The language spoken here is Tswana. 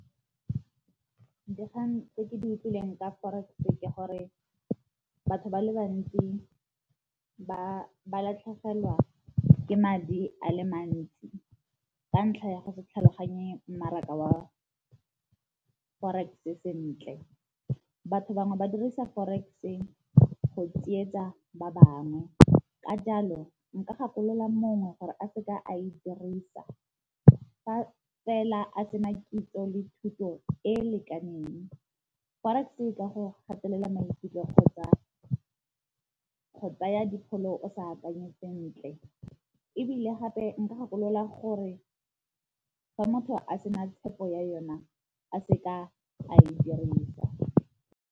Dikgang tse ke di utlwileng ka forex ke gore batho ba le bantsi ba ba latlhegelwa ke madi a le mantsi ka ntlha ya go se tlhaloganye mmaraka wa forex sentle. Batho bangwe ba dirisa forex-e go tsietsa ba bangwe ka jalo nka gakolola mongwe gore a seka a e dirisa fa fela a tsena kitso le thuto e e lekaneng. Forex e ka go gatelela maikutlo kgotsa go tsaya dipholo o sa akanye sentle, ebile gape nka gakolola gore fa motho a sena tshepo ya yona a seka a e dirisa.